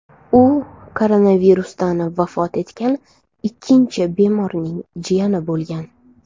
U koronavirusdan vafot etgan ikkinchi bemorning jiyani bo‘lgan .